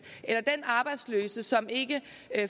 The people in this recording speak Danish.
eller den arbejdsløse som ikke